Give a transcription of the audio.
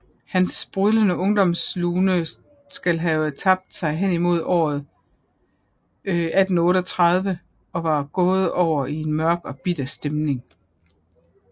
Hans sprudlende ungdomslune skal have tabt sig henimod året 1838 og var gået over i en mørk og bitter stemning